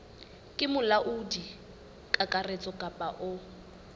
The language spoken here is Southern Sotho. ke molaodi kakaretso kapa o